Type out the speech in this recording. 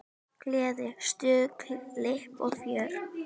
Gleði, stuð, flipp og fjör.